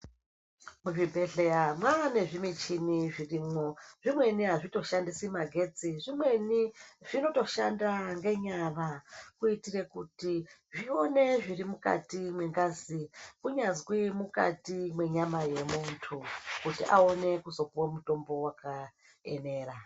Muzvibhedhleya mwane zvimichini zvirimwo. Zvimweni hazvitoshandisi magetsi. Zvimweni zvinotoshanda ngenyara kuitire kuti zvione zviri mungati mwengazi kunyazwi mwukati mwenyama yemuntu kuti awone kuzopuwe mutombo wakaenera.